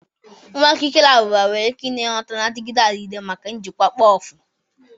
Nwa ukukele abụba nwere ike inye ihe ngwọta na-adịgide adịgide maka njikwa mkpofu.